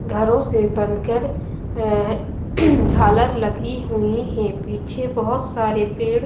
घरों से बनकर अ झालर लगी हुई है पीछे बहोत सारे पेड़--